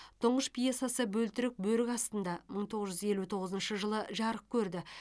тұңғыш пьесасы бөлтірік бөрік астында мың тоғыз жүз елу тоғызыншы жылы жарық көрді